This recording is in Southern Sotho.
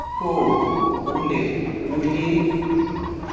oo ho ne ho le